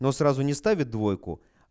но сразу не ставит двойку